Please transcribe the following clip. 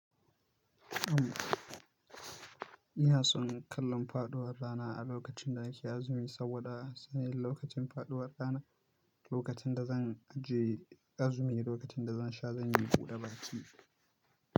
Am, ina son kallon faɗuwar rana a lokacin da nake azumi saboda sanin lokacin faɗuwar rana, lokacin da zan aje azumi, lokacin da zan sha zanyi buda baki.